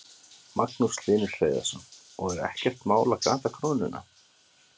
Magnús Hlynur Hreiðarsson: Og er ekkert mál að gata krónuna?